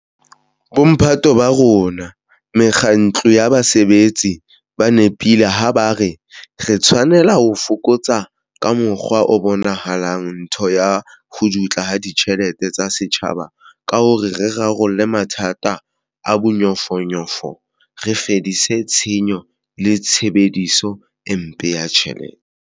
Bomphato ba rona mekga tlong ya basebetsi ba nepile ha ba re re tshwanela ho fokotsa, ka mokgwa o bonahalang, ntho ya ho dutla ha ditjhelete tsa setjhaba ka hore re rarolle mathata a bonyofonyofo, re fedise tshenyo le tshebediso e mpe ya ditjhelete.